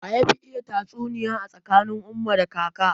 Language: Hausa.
Waye yafi iya tatsuniya tsakanin umma da kaka?